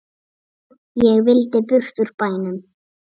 Ég vildi burt úr bænum.